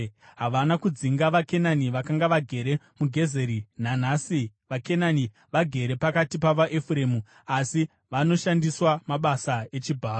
Havana kudzinga vaKenani vakanga vagere muGezeri; nanhasi vaKenani vagere pakati pavaEfuremu asi vanoshandiswa mabasa echibharo.